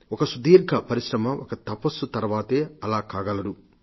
ఒక సుదీర్ఘ పరిశ్రమ ఒక తపస్సు తర్వాతే అలా కాగలరు